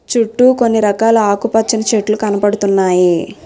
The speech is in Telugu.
చుట్టూ కొన్ని రకాల ఆకు పచ్చని చెట్లు కనపడుతున్నాయి.